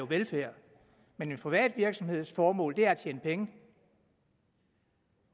velfærd men en privat virksomheds formål er at tjene penge